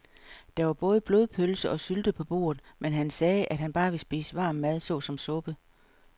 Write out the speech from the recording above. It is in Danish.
Der var både blodpølse og sylte på bordet, men han sagde, at han bare ville spise varm mad såsom suppe.